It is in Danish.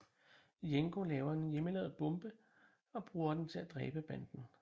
Jenko laver en hjemmelavet bombe og bruger den til at dræbe banden